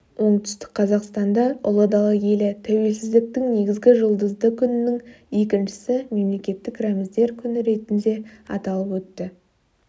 оңтүстік қазақстанда ұлы дала елі тәуелсіздіктің негізі жұлдызды күннің екіншісі мемлекеттік рәміздер күні ретінде аталып өтті